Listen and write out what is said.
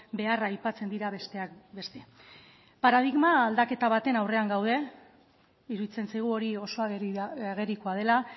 beharra aipatzen dira besteak beste paradigma aldaketa baten aurrean gaude iruditzen zaigu hori oso agerikoa dela